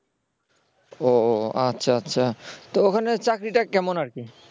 ও ও আচ্ছা আচ্ছা তো ওখানের চাকরিটা কেমন আর কি